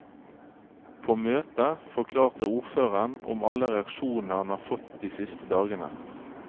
På møtet forklarte ordføreren om alle reaksjonene han har fått de siste dagene.